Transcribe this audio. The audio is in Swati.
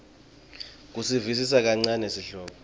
kusivisisa kancane sihloko